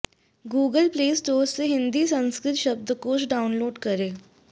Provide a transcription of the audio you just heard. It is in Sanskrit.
गूगल प्ले स्टोर से हिन्दी संस्कृत शब्दकोश डाउनलोड करें